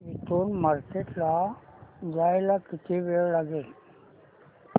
इथून मार्केट ला जायला किती वेळ लागेल